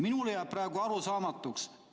" Minule jääb see praegu arusaamatuks.